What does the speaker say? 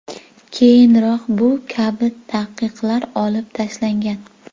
Keyinroq bu kabi taqiqlar olib tashlangan.